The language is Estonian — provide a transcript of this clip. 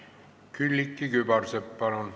Külliki Kübarsepp, palun!